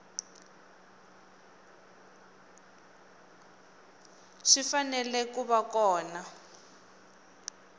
swi fanele ku va kona